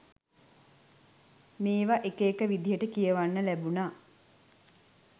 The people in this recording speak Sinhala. මේවා එක එක විදිටය කියවන්න ලැබුනා.